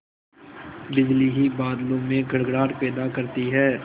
बिजली ही बादलों में गड़गड़ाहट पैदा करती है